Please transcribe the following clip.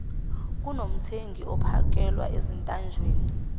kunomthengi ophakelwa ezintanjeni